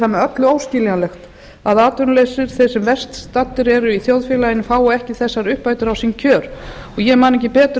með öllu óskiljanlegt að atvinnuleysið þeir sem verst eru staddir í þjóðfélaginu fái ekki þessar uppbætur á sín kjör ég man ekki betur